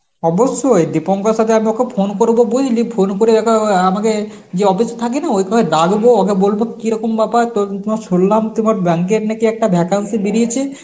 অবশ্যই, দীপঙ্করের সাথে আমি ওকে phone করব বুঝলি phone করে ওকে অ্যাঁ আমাদের যে office থাকে না ওখানে ডাকবো ওকে বলব কিরকম ব্যাপার তো~ তোমার শুনলাম তোমার bank এর নাকি একটা vacancy বেরিয়েছে